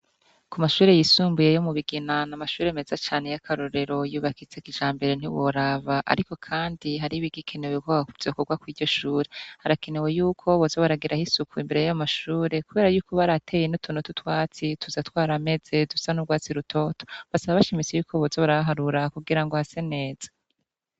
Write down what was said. Ku mashuri yisumbuye yo mu Bigina ni amashuri meze cane y'akarorero yubakitse k ijambere ntiworaba ariko kandi hari bigikenewe koba ku vyokorwa kw'iryoshuri harakenewe y'uko boza baragiraho isuku imbere y'amashure kubera y'uko ba ariateye ituntu tutwatsi tuzatwara ameze dusa n'ubwatsi rutoto basaba bashimise koboza baraharura kugira ngo hase neza.